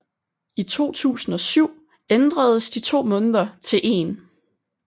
I 2007 ændredes de to måneder til én